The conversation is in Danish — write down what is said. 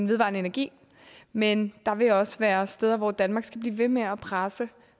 vedvarende energi men der vil også være steder hvor danmark skal blive ved med at presse